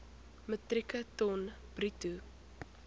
metrieke ton bruto